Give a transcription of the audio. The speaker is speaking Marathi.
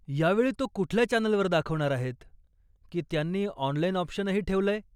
यावेळी तो कुठल्या चॅनलवर दाखवणार आहेत? की त्यांनी ऑनलाइन ऑप्शनही ठेवलंय?